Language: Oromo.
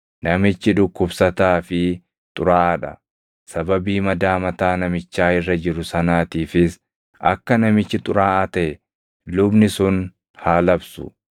namichi dhukkubsataa fi xuraaʼaa dha. Sababii madaa mataa namichaa irra jiru sanaatiifis akka namichi xuraaʼaa taʼe lubni sun haa labsu.